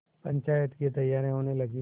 पंचायत की तैयारियाँ होने लगीं